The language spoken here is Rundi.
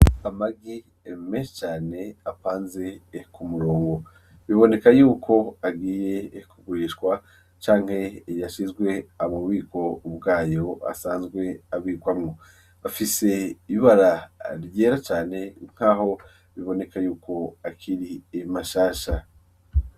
Amagi menshi cane apanze ku murungo, biboneka yuko agiye ku gurishwa canke yashizwe mu bubiko bwayo asanzwe abikwamo, afise ibara ryera cane nkaho biboneka yuko akiri mashasha.